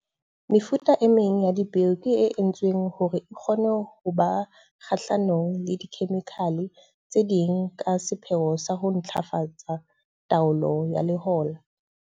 Mefuta e meng ya dipeo ke e entsweng hore e kgone ho ba kgahlanong le dikhemikhale tse ding ka sepheo sa ho ntlafatsa taolo ya lehola.